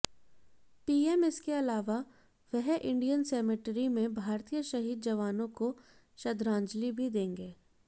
PM इसके अलावा वह इंडियन सेमटेरी में भारतीय शहीद जवानों को श्रद्धांजलि भी देंगे